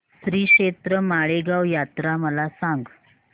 श्रीक्षेत्र माळेगाव यात्रा मला सांग